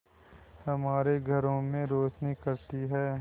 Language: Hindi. हमारे घरों में रोशनी करती है